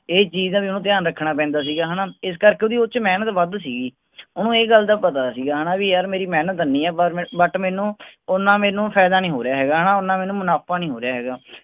ਇਹ ਚੀਜ਼ ਦਾ ਵੀ ਓਹਨੂੰ ਧਿਆਨ ਰੱਖਣਾ ਪੈਂਦਾ ਸੀ ਕਿ ਹੈਨਾ ਇਸ ਕਰਕੇ ਓਹਦੀ ਉਸ ਚ ਮੇਹਨਤ ਵੱਧ ਸੀਗੀ ਓਹਨੂੰ ਇਹ ਗੱਲ ਦਾ ਪਤਾ ਸੀਗਾ ਹੈਨਾ ਵੀ ਯਾਰ ਮੇਰੀ ਮੇਹਨਤ ਐਨੀ ਆ ਪਰ ਮੈਂਨੂੰ ਓਹਨਾ ਮੈਂਨੂੰ ਫਾਇਦਾ ਨੀ ਹੋ ਰਿਹਾ ਹੈਗਾ ਹੈਨਾ ਓਹਨਾ ਮੈਂਨੂੰ ਮੁਨਾਫ਼ਾ ਨੀ ਹੋ ਰਿਹਾ ਹੈਗਾ